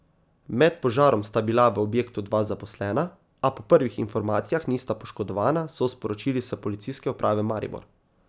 Med požarom sta bila v objektu dva zaposlena, a po prvih informacijah nista poškodovana, so sporočili s Policijske uprave Maribor.